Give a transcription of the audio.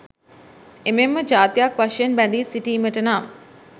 එමෙන්ම ජාතියක් වශයෙන් බැඳී සිටීමට නම්